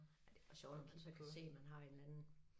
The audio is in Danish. Ej det også sjovt hvis man så kan se man har en eller anden